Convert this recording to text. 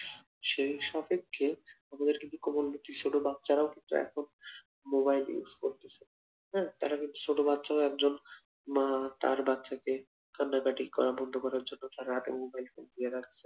সেইসব ক্ষেত্রে আমাদের কিছু করার নেই ছোট বাচ্চারাও কিন্তু এখন মোবাইল use করতেছে দেখা যাচ্ছে ছোট বাচ্চারা একজন একজন মা তার বাচ্চাদের কান্নাকাটি করা বন্ধ করার জন্য তার হাতে মোবাইল ফোন দিয়ে রাখছে